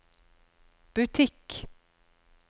butikk